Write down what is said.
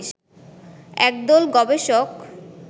একদল গবেষক